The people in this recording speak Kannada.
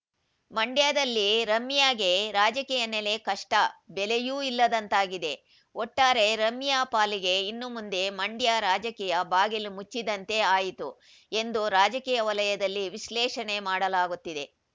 ಮಂಡ್ಯದಲ್ಲಿ ರಮ್ಯಾಗೆ ರಾಜಕೀಯ ನೆಲೆ ಕಷ್ಟ ಬೆಲೆಯೂ ಇಲ್ಲದಂತಾಗಿದೆ ಒಟ್ಟಾರೆ ರಮ್ಯಾ ಪಾಲಿಗೆ ಇನ್ನು ಮುಂದೆ ಮಂಡ್ಯ ರಾಜಕೀಯ ಬಾಗಿಲು ಮುಚ್ಚಿದಂತೆ ಆಯಿತು ಎಂದು ರಾಜಕೀಯ ವಲಯದಲ್ಲಿ ವಿಶ್ಲೇಷಣೆ ಮಾಡಲಾಗುತ್ತಿದೆ